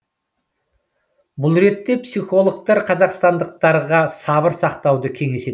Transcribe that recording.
бұл ретте психологтар қазақстандықтарға сабыр сақтауды кеңес етеді